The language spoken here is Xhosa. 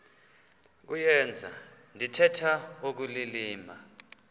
kuyenza ndithetha ukulilima